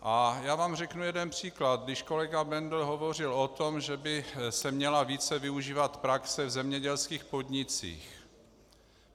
A já vám řeknu jeden příklad, když kolega Bendl hovořil o tom, že by se měla více využívat praxe v zemědělských podnicích.